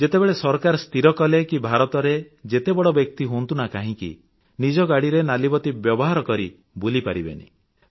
ଯେତେବେଳେ ସରକାର ସ୍ଥିର କଲେ କି ଭାରତରେ ଯେତେ ବଡ଼ ବ୍ୟକ୍ତି ହୁଅନ୍ତୁ ନା କାହିଁକି ନିଜ ଗାଡିରେ ନାଲିବତୀ ବ୍ୟବହାର କରି ବୁଲିପାରିବେ ନାହିଁ